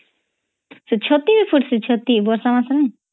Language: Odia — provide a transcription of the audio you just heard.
ଛତି ଫୁର୍ସେ ଛତି ବର୍ଷା ମାସେ ନଇ